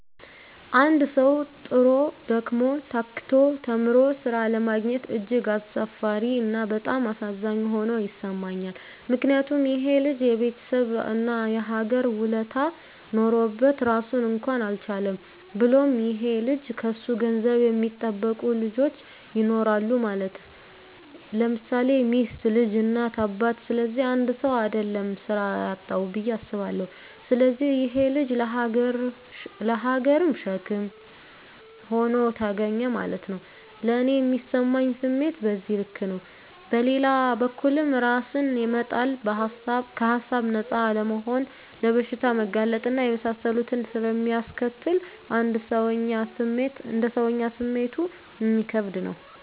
አንድ ሠዉ, ጥሮ: ደክሞ :ታክቶ ተምሮ ስራ አለማግኘት እጅግ አሳፋሪ እና በጣም አሳዛኝ ሆኖ ይሠማኛል ምክንያቱም :ይሄ ልጅ የቤተሠብ እና የሀገር ውለታ ኖሮበት ራሱን እንኳን አልቻለም። ብሎም ይሄ ልጅ ከሱ ገንዘብ የሚጠብቁ ልጆች ይኖራሉ ማለት _ለምሳሌ ሚስት: ልጅ: እናት :አባት ስለዚህ 1ሰው: አደለም ስራ ያጣዉ ብየ አስባለሁ። ስለዚህ ይሄ_ ልጅ ለሀገርም ሸክም ሆኖ ተገኘ ማለት ነዉ። ለኔ ሚሰማኝ ስሜት በዚህ ልክ ነው። በሌላ በኩልም እራስን መጣል ከሀሳብ ነፃ አለመሆንና ለበሽታ መጋለጥ እና የመሳሰሉትን ስለሚያስከትል: እንደ ሰወኛ ስሜቱ እሚከብድ ነው